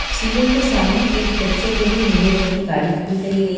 सीढ़ीओ के सामने एक बच्चो के लिए नीले रंग की गाड़ी खड़ी करी गई--